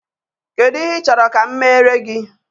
Kedu ihe ị chọrọ ka m meere gị?